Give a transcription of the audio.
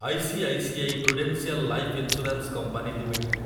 ICICI Prudential Life Insurance Company limited